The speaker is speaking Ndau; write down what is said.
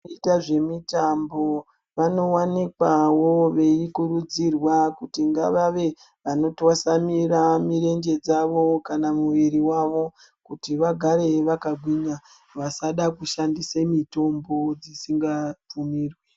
Kuita zvemitambo vanowanikwawo veikurudzirwa kuti ngavave vanotwasamira mirenje dzavo kana muviri wavo kuti vagare vakagwinya vasada kushandise mitombo dzisingabvumirwi.